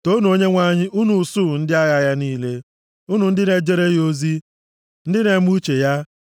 Toonu Onyenwe anyị unu usuu ndị agha ya niile; unu ndị na-ejere ya ozi, ndị na-eme uche ya.